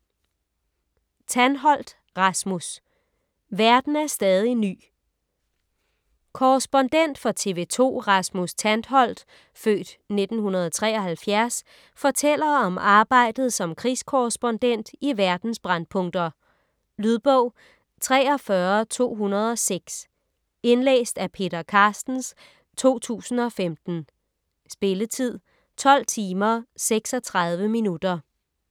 Tantholdt, Rasmus: Verden er stadig ny Korrespondent for TV2 Rasmus Tantholdt (f. 1973) fortæller om arbejdet som krigskorrespondent i verdens brændpunkter. Lydbog 43206 Indlæst af Peter Carstens, 2015. Spilletid: 12 timer, 36 minutter.